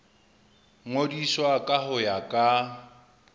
ngodiswa ka ho ya ka